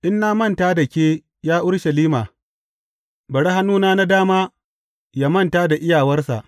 In na manta da ke, ya Urushalima, bari hannuna na dama manta da iyawarsa.